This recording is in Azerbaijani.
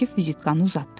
Akif vizitkanı uzatdı.